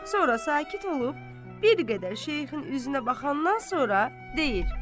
Sonra sakit olub, bir qədər Şeyxin üzünə baxandan sonra deyir: